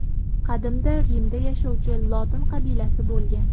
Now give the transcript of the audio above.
Qadimda Rimda yashovchi lotin qabilasi bo‘lgan.